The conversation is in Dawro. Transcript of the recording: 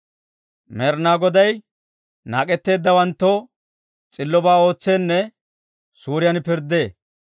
Med'inaa Goday naak'etteeddawanttoo s'illobaa ootseenne suuriyaan pirddee.